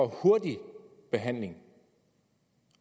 hurtig behandling og